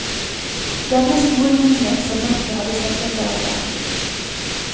Denne store jungel som mørket hadde senket seg over.